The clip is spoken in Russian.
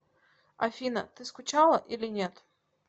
афина ты скучала или нет